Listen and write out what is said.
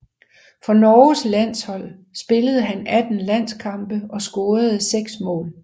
For Norges landshold spillede han 18 landskampe og scorede seks mål